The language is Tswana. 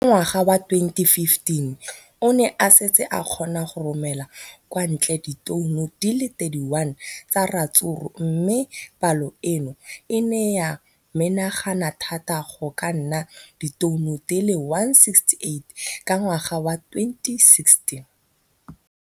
Ka ngwaga wa 2015, o ne a setse a kgona go romela kwa ntle ditone di le 31 tsa ratsuru mme palo eno e ne ya menagana thata go ka nna ditone di le 168 ka ngwaga wa 2016.